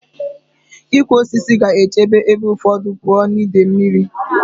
Ịkụ osisi ga-echebe ebe ụfọdụ pụọ na ide mmiri.